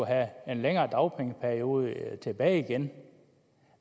have en længere dagpengeperiode tilbage igen